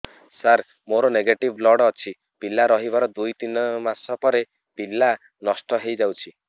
ସାର ମୋର negative blood ଅଛି ପିଲା ରହିବାର ଦୁଇ ତିନି ମାସ ପରେ ପିଲା ନଷ୍ଟ ହେଇ ଯାଉଛି